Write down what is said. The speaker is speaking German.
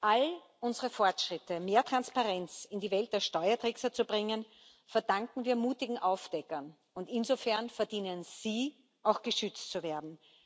All unsere Fortschritte, mehr Transparenz in die Welt der Steuertrickser zu bringen, verdanken wir mutigen Aufdeckern, und insofern verdienen sie, auch geschützt zu werden.